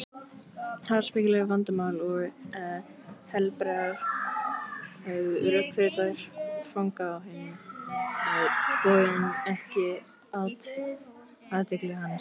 Háspekileg vandamál og helberar rökþrautir fanga á hinn bóginn ekki athygli hans.